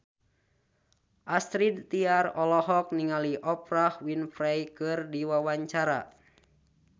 Astrid Tiar olohok ningali Oprah Winfrey keur diwawancara